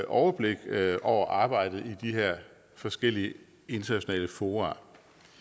overblik over arbejdet i de her forskellige internationale fora